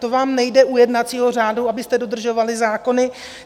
To vám nejde u jednacího řádu, abyste dodržovali zákony.